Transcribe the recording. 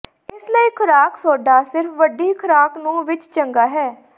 ਇਸ ਲਈ ਖੁਰਾਕ ਸੋਡਾ ਸਿਰਫ ਵੱਡੀ ਖ਼ੁਰਾਕ ਨੂੰ ਵਿੱਚ ਚੰਗਾ ਹੈ